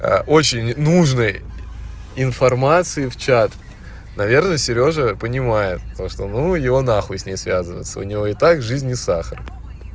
очень нужной информации в чат наверное сережа понимает то что ну его нахуй с ней связываться у него и так жизнь не сахар